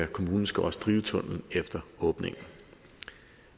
kommunen skal også drive tunnellen efter åbningen